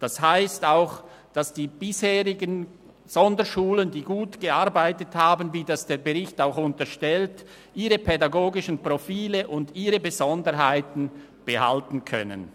Das heisst auch, dass die bisherigen Sonderschulen, die gut gearbeitet haben, wie das der Bericht auch unterstreicht, ihre pädagogischen Profile und Besonderheiten behalten können.